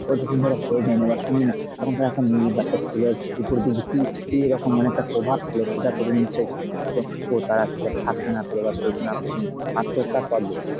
আবার যখন ধর হয়ে যায় না বা শুনি না তখন তা একটা মেয়ের বা একটা ছেলের উপর দিয়ে যে কী কী রকম মানে একটা পভাব ফেলে সেটা তো তুমি নিশ্চই জানো হয়ত তারা সেসব থাকতে না পেরে সইতে না পেরে কিন্তু আত্মহত্যার পথ বেছে নিবে।